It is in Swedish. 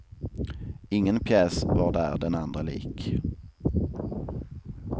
Ingen pjäs var där den andra lik.